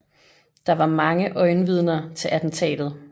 Der var mange øjenvidner til attentatet